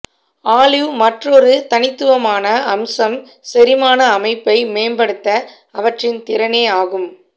olive மற்றொரு தனித்துவமான அம்சம் செரிமான அமைப்பை மேம்படுத்த அவற்றின் திறனே ஆகும்